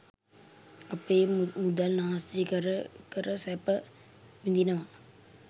අපේ මුදල් නාස්ති කර කර සැප විදිනවා